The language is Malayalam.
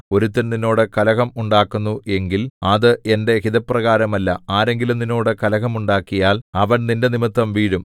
ഒരുത്തൻ നിന്നോട് കലഹം ഉണ്ടാക്കുന്നു എങ്കിൽ അത് എന്റെ ഹിതപ്രകാരമല്ല ആരെങ്കിലും നിന്നോട് കലഹം ഉണ്ടാക്കിയാൽ അവൻ നിന്റെനിമിത്തം വീഴും